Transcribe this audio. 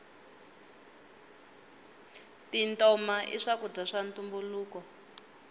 tintoma i swakudya swa ntumbuluko